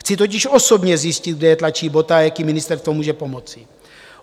Chci totiž osobně zjistit, kde je tlačí bota a jak jim ministerstvo může pomoci.